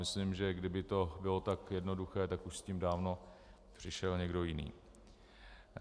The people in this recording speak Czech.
Myslím, že kdyby to bylo tak jednoduché, tak už s tím dávno přišel někdo jiný.